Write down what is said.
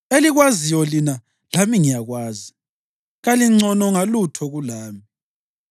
Elikwaziyo lina lami ngiyakwazi; kalingcono ngalutho kulami.